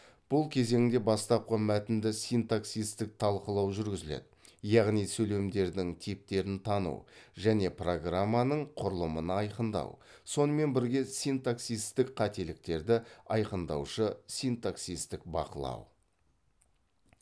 бұл кезеңде бастапқы мәтінді синтаксистік талқылау жүргізіледі яғни сөйлемдердің типтерін тану және программаның құрылымын айқындау сонымен бірге синтаксистік қателіктерді айқындаушы синтаксистік бақылау